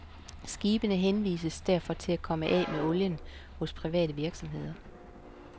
Skibene henvises derfor til at komme af med olien hos private virksomheder.